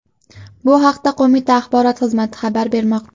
Bu haqda qo‘mita axborot xizmati xabar bermoqda.